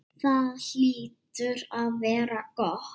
Það hlýtur að vera gott.